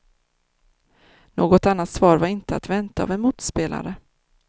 Något annat svar var inte att vänta av en motspelare.